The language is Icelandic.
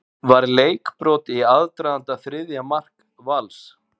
Var leikbrot í aðdraganda þriðja marks Vals?